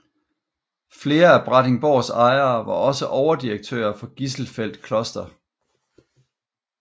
Flere af Brattingsborgs ejere var også overdirektører for Gisselfeld Kloster